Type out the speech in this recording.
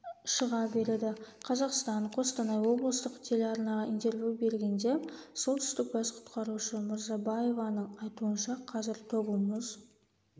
шыға береді қазақстан-қостанай облыстық телеарнаға интервью бергенде солтүстік бас құтқарушы мұрзабаеваның айтуынша қазір тобыл мұз